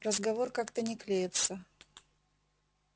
разговор как-то не клеится